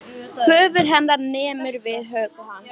Höfuð hennar nemur við höku hans.